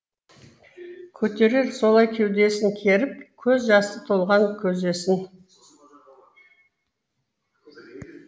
көтерер солай кеудесін керіп көз жасы толған көзесін